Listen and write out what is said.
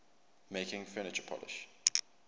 making furniture polish